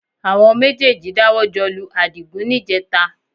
Àwọn méjèèjì dáwọ́ jọ lu Àdìgún níjẹẹta